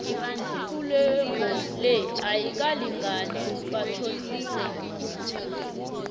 ikulego le ayikalingani batjhodise umzala